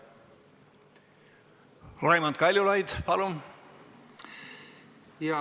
Raimond Kaljulaid, palun!